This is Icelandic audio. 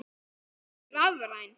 Hún er rafræn.